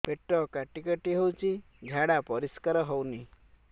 ପେଟ କାଟି କାଟି ହଉଚି ଝାଡା ପରିସ୍କାର ହଉନି